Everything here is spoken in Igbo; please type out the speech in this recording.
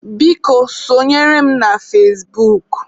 Biko, sọnyere m na fazebuk.